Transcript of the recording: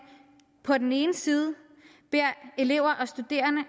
på den ene side beder elever og studerende